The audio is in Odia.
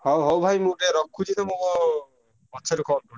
ହଉ ହଉ ଭାଇ ମୁଁ ଟିକେ ରଖୁଛି ତମକୁ ପଛରେ call କରୁଛି।